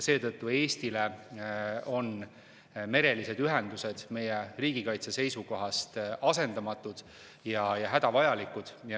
Seetõttu on merelised ühendused Eestile riigikaitse seisukohast asendamatud ja hädavajalikud.